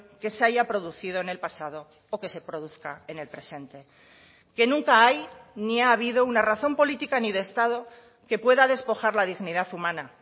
que se haya producido en el pasado o que se produzca en el presente que nunca hay ni ha habido una razón política ni de estado que pueda despojar la dignidad humana